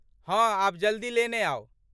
हँ, आब जल्दी लेने आउ।